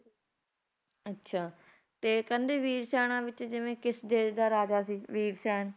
ਅੱਛਾ ਤੇ ਕਹਿੰਦੇ ਵੀਰਸੈਨਾ ਵਿੱਚ ਜਿਵੇਂ ਕੇ ਕਿਸ ਦੇਸ਼ ਦਾ ਰਾਜਾ ਸੀ ਵੀਰਸੈਨ